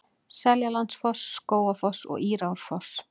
Seljalandsfoss, Skógafoss og Írárfoss.